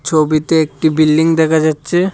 ছবিতে একটি বিল্ডিং দেখা যাচ্ছে।